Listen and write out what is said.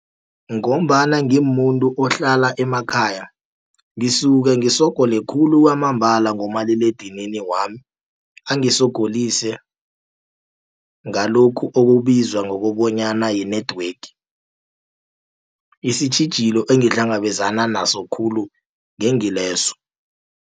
Ngombana ngimumuntu ohlala emakhaya, ngisuke ngisogole khulu kwamambala ngomaliledinini wami, angisogolise ngalokhu okubizwa ngokobanyana yi-network. Isitjhijilo engihlangabezana naso khulu ngengileso.